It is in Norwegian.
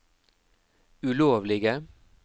ulovlige